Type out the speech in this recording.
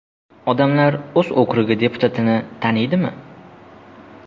Odamlar o‘z okrugi deputatini taniydimi?